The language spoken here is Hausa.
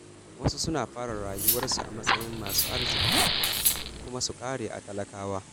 Wasu suna fara rayuwarsu a matsayin masu arziƙi, kuma su ƙare a talakawa.